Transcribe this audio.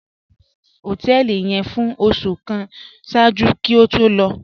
Kọ́lá gbé ni họtẹẹlì yẹn fún ọṣù kàn ṣáàjú kí ó tó lọ